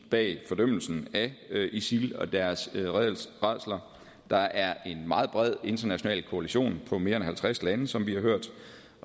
bag fordømmelsen af isil og deres rædsler og der er en meget bred international koalition på mere end halvtreds lande som vi har hørt